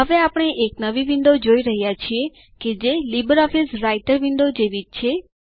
હવે આપણે એક નવી વિન્ડો જોઈ રહ્યા છીએ કે જે લીબરઓફીસ રાઈટર વિન્ડો જેવી જ છે